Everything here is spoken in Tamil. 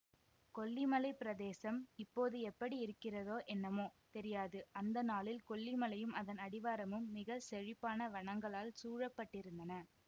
கொல்லிமலை பிரதேசம் இப்போது எப்படி இருக்கிறதோ என்னமோ தெரியாது அந்தநாளில் கொல்லிமலையும் அதன் அடிவாரமும் மிக செழிப்பான வனங்களால் சூழப்பட்டிருந்தன